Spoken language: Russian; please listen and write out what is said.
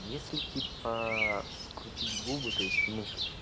если типа скрутить губы то есть внутрь